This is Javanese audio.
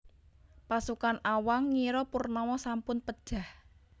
Pasukan Awang ngira Purnama sampun pejah